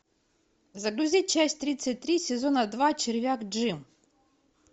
загрузи часть тридцать три сезона два червяк джим